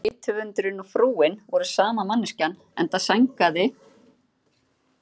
Bæði rithöfundurinn og frúin voru sama manneskjan, enda sængaði